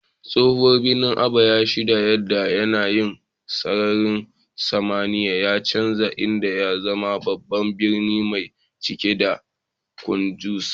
Tsohon birnin Aba ya shaida yadda yanayin sararin samaniya ya canza, inda ya zama babban birni mai cike da cunkoso.